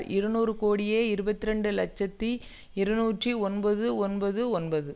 இருநூறு கோடியே இருபத்தி இரண்டு இலட்சத்தி இருநூற்றி ஒன்பது ஒன்பது ஒன்பது